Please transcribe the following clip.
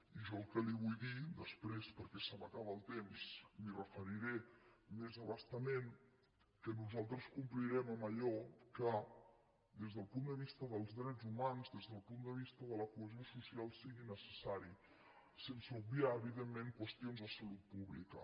i jo el que li vull dir després perquè se m’acaba el temps m’hi referiré més a bastament que nosaltres complirem amb allò que des del punt de vista dels drets humans des del punt de vista de la cohesió social sigui necessari sense obviar evidentment qüestions de salut pública